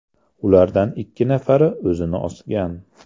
Ulardan ikki nafari o‘zini osgan.